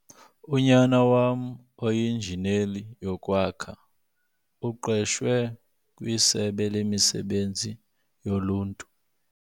Unyana wam oinjineli yokwakha uqeshwe kwisebe lemisebenzi yoluntu.